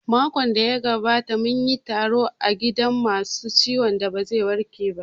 Makon da ya gabata munyi taro a gidan masu ciwon da ba zai warke ba